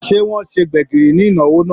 Se wọn ṣe gbẹ̀gìrì ni ìnáwó náà?